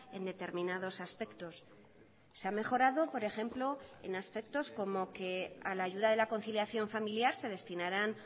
en determinados aspectos se ha mejorado por ejemplo en aspectos como que a la ayuda de la conciliación familiar se destinarán